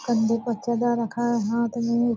कंधे पर चदरा रखा है हाथ भीर।